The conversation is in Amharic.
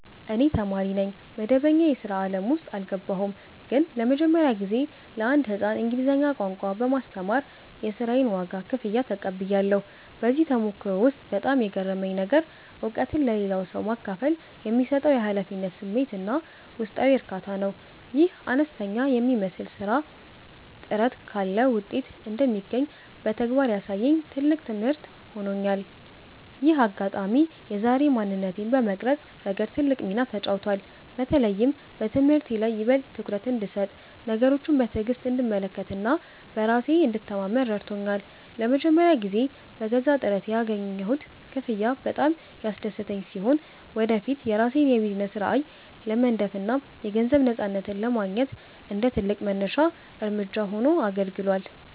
እኔ ተማሪ ነኝ፣ መደበኛ የሥራ ዓለም ውስጥ አልገባሁም። ግን ለመጀመሪያ ጊዜ ለአንድ ሕፃን እንግሊዝኛ ቋንቋ በማስተማር የሥራዬን ዋጋ (ክፍያ) ተቀብያለሁ። በዚህ ተሞክሮ ውስጥ በጣም የገረመኝ ነገር፣ እውቀትን ለሌላ ሰው ማካፈል የሚሰጠው የኃላፊነት ስሜትና ውስጣዊ እርካታ ነው። ይህ አነስተኛ የሚመስል ሥራ ጥረት ካለ ውጤት እንደሚገኝ በተግባር ያሳየኝ ትልቅ ትምህርት ሆኖኛል። ይህ አጋጣሚ የዛሬ ማንነቴን በመቅረጽ ረገድ ትልቅ ሚና ተጫውቷል። በተለይም በትምህርቴ ላይ ይበልጥ ትኩረት እንድሰጥ፣ ነገሮችን በትዕግሥት እንድመለከትና በራሴ እንድተማመን ረድቶኛል። ለመጀመሪያ ጊዜ በገዛ ጥረቴ ያገኘሁት ክፍያ በጣም ያስደሰተኝ ሲሆን፣ ወደፊት የራሴን የቢዝነስ ራዕይ ለመንደፍና የገንዘብ ነፃነትን ለማግኘት እንደ ትልቅ መነሻ እርምጃ ሆኖ አገልግሏል።